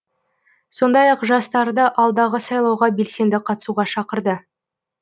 сондай ақ жастарды алдағы сайлауға белсенді қатысуға шақырды